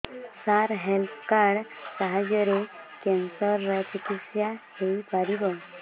ସାର health card ସାହାଯ୍ୟରେ cancer ର ଚିକିତ୍ସା ହେଇପାରିବ